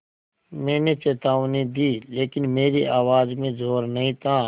मैंने चेतावनी दी लेकिन मेरी आवाज़ में ज़ोर नहीं था